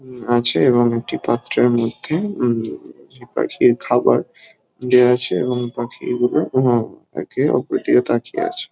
উম আছে এবং একটি পাত্রের মধ্যে উম যে পাখির খাবার দেওয়া আছে | এবং পাখিগুলো উম একে অপরের দিকে তাকিয়ে আছে।